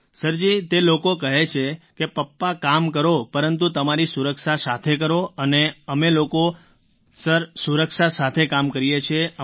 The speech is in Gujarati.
સર જી તે લોકો કહે છે કે પાપા કામ કરો પરંતુ તમારી સુરક્ષા સાથે કરો અને અમે લોકો સર સુરક્ષા સાથે કામ કરીએ છીએ